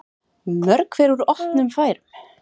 Mörg hver úr opnum færum.